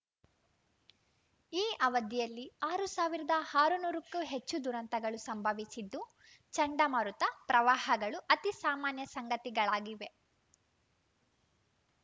ಈ ಅವಧಿಯಲ್ಲಿ ಆರು ಸಾವಿರದ ಹರುನೂರಕ್ಕೂ ಹೆಚ್ಚು ದುರಂತಗಳು ಸಂಭವಿಸಿದ್ದು ಚಂಡಮಾರುತ ಪ್ರವಾಹಗಳು ಅತಿ ಸಾಮಾನ್ಯ ಸಂಗತಿಗಳಾಗಿವೆ